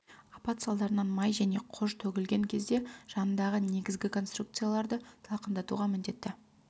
апат салдарынан май және қож төгілген кезде жанындағы негізгі конструкцияларды салқындатуға міндетті